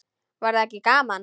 Væri það ekki gaman?